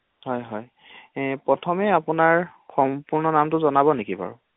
হয় হয় এই প্ৰথমে আপোনাৰ সম্পূ্ৰ্ণ নামটো জনাব নেকি বাৰু?